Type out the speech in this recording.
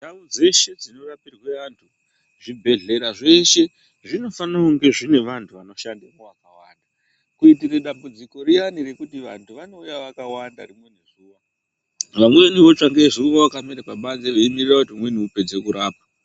Ndau dzeshe dzino rapirwe antu zvibhedhlera zveshe zvinofane unge zvinevantu vanoshandemwo vakawanda. Kuitire dambudziko riani rekuti vantu vanouya vakawanda vamweni votsva ngezuwa vakamurira pabanze veimirira kuti umweni upedze kurapwa